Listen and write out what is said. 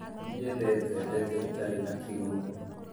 Ndiendete ndeto itarĩ na kĩguni